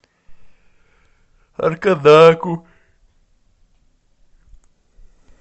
аркадаку